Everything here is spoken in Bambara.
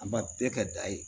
An b'a bɛɛ ka da ye